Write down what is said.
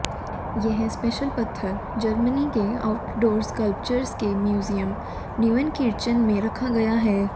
यह स्पेशल पत्थर जर्मनी के आउटडोर स्कल्पचर्स के म्यूजियम न्यूएनकिर्चेन में रखा गया है